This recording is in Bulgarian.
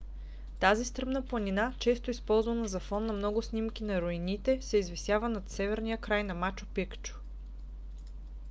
тази стръмна планина често използвана за фон на много снимки на руините се извисява над северния край на мачу пикчу